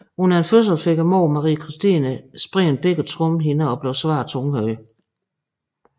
Under en fødsel fik moren Marie Kirstine sprængt begge trommehinder og blev svært tunghør